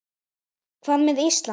Hvað með Ísland?